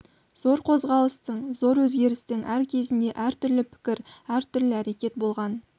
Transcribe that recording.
зор қозғалыстың зор өзгерістің әр кезінде әр түрлі пікір әр түрлі әрекет болған